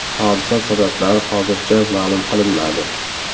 Hodisa sabablari hozircha ma’lum qilinmadi.